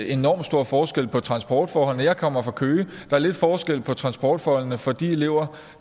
enorm stor forskel på transportforholdene jeg kommer fra køge og er lidt forskel på transportforholdene for de elever